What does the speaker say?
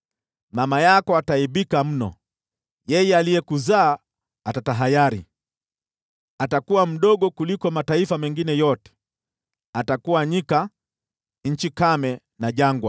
mama yako ataaibika mno, yeye aliyekuzaa atatahayari. Atakuwa mdogo kuliko mataifa mengine yote, atakuwa nyika, nchi kame na jangwa.